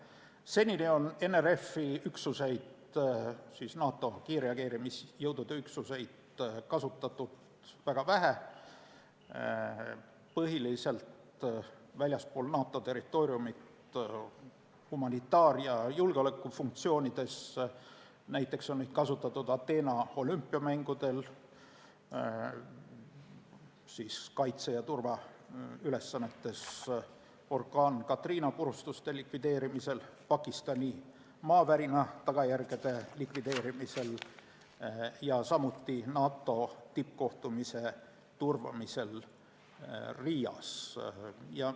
Seni on NRF-i üksuseid, NATO kiirreageerimisjõudude üksuseid kasutatud väga vähe, põhiliselt väljaspool NATO territooriumi humanitaar- ja julgeolekufunktsioonides, näiteks Ateena olümpiamängudel kaitse- ja turvaülesannetes, orkaan Katrina purustuste likvideerimisel, Pakistani maavärina tagajärgede likvideerimisel ja NATO tippkohtumise turvamisel Riias.